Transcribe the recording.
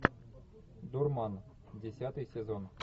дурман десятый сезон